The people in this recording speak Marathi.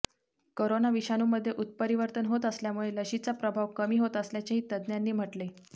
करोना विषाणूमध्ये उत्परिवर्तन होत असल्यामुळे लशीचा प्रभाव कमी होत असल्याचेही तज्ज्ञांनी म्हटले